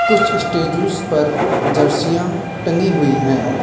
कुछ स्टेच्यूज पर जर्सियां टंगी हुई हैं।